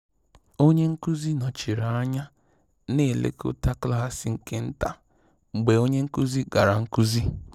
Onye nkụzi nọchiri anya na elekọta klaasị nke taa mgbe onye nkụzi gara nkụzi